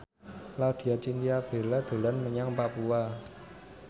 Laudya Chintya Bella dolan menyang Papua